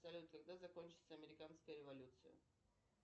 салют когда закончится американская революция